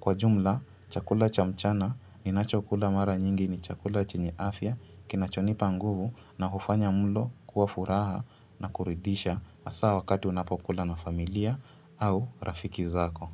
Kwa jumla, chakula cha mchana ni nachokula mara nyingi ni chakula chini afya kinachonipa nguvu na hufanya mlo kuwafuraha na kuridisha hasa wakati unapokula na familia au rafiki zako.